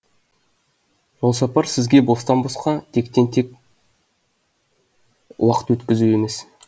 жолсапар сізге бостан босқа тектен тен уақыт өткізу емес